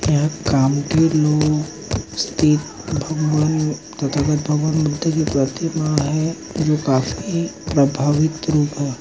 यहा काम के लोग स्थित तथा भगवान बुद्ध की प्रतिमा है जो काफी प्रभावित रूप है।